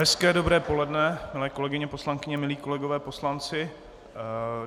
Hezké dobré poledne, milé kolegyně poslankyně, milí kolegové poslanci.